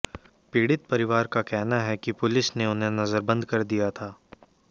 पीड़ित परिवार का कहना है कि पुलिस ने उन्हें नज़रबंद कर दिया था